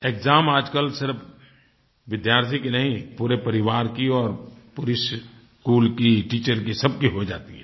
exam आजकल सिर्फ़ विद्यार्थी की नहीं पूरे परिवार की और पूरे स्कूल की टीचर की सबकी हो जाती है